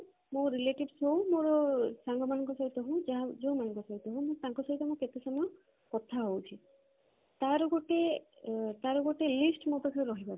ମୋର relatives ହଉ କି ସାଙ୍ଗ ମାନଙ୍କ ସହିତ ହଉ ଯୋଉ ମାନଙ୍କ ସହିତ ହଉ ତାଙ୍କ ସହିତ ମୁଁ କେତେ ସମୟ ମୁଁ କଥା ହଉଛି ତାର ଗୋଟେ ତାର ଗୋଟେ list ମୋ ପାଖରେ ରହିବା ଦରକାର